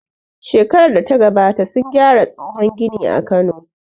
Shekarar data gabata sun gyara tsohon gini a Kano